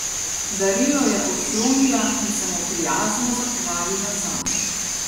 Darilo je odklonila in se mu prijazno zahvalila zanj.